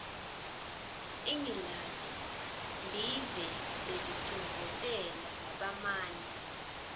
ingilandi liveleh belicindzetela labamyama